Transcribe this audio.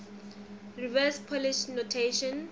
reverse polish notation